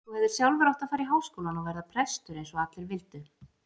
Þú hefðir sjálfur átt að fara í Háskólann og verða prestur eins og allir vildu.